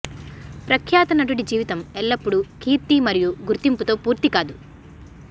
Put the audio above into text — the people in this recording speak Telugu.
ప్రఖ్యాత నటుడి జీవితం ఎల్లప్పుడూ కీర్తి మరియు గుర్తింపుతో పూర్తి కాదు